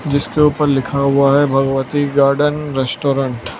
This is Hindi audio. जिसके उपर लिखा हुआ है भगवती गार्डन रेस्टोरेंट --